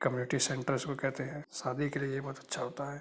Committee centre इसको कहते हैं। शादी के लिए ये बहुत अच्छा होता है।